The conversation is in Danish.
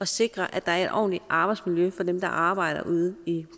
sikre at der er et ordentligt arbejdsmiljø for dem der arbejder ude i